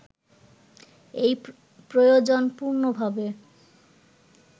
এই প্রয়োজন পূর্ণভাবে